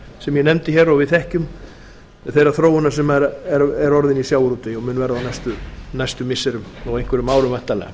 sem ég nefndi hér og við þekkjum þeirrar þróunar sem er orðin i sjávarútvegi og mun verða á næstu missirum og einhverjum árum væntanlega